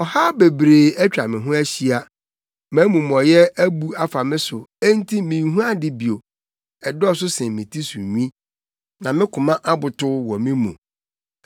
Ɔhaw bebree atwa me ho ahyia; mʼamumɔyɛ abu afa me so enti minhu ade bio. Ɛdɔɔso sen me ti so nwi, na me koma abotow wɔ me mu.